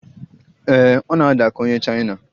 Ee, ọ na-ada ka onye Chaina